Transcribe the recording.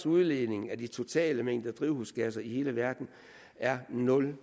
udledningen af de totale mængder af drivhusgasser i hele verden er nul